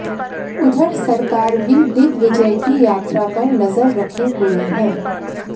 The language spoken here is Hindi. उधर सरकार भी दिग्विजय की यात्रा पर नजर रखे हुये है